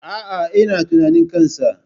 Aa, ina tunanin kansa